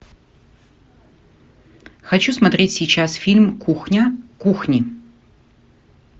хочу смотреть сейчас фильм кухня кухни